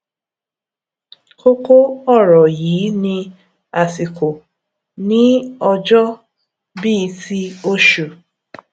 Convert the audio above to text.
kókó ọrọ yìí ni àsìkò ní ọjọ bí i ti osù